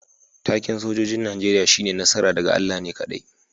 Taken' sojoji'n Nijeriya shine "Nasara daga Allah ne kadai."